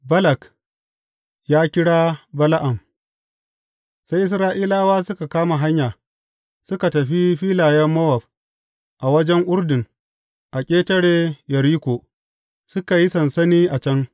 Balak ya kira Bala’am Sai Isra’ilawa suka kama hanya, suka tafi filayen Mowab, a wajen Urdun, a ƙetare Yeriko, suka yi sansani a can.